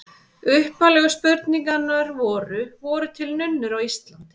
Upphaflegu spurningarnar voru: Voru til nunnur á Íslandi?